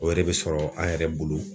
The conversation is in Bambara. O yɛrɛ be sɔrɔ an yɛrɛ bolo